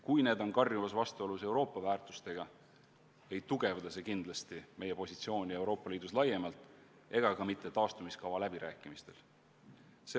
Kui need on karjuvas vastuolus Euroopa väärtustega, siis ei tugevda see kindlasti meie positsiooni ei Euroopa Liidus laiemalt ega taastumiskava läbirääkimistel.